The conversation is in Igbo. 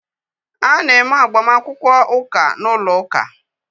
A na-eme agbamakwụkwọ ụka n'ụlọ uka